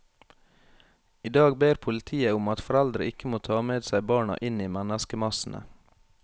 I dag ber politiet om at foreldre ikke må ta med seg barna inn i menneskemassene.